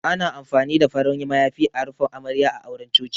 Ana amfani da farin mayafi a rufe Amarya a auren Coci.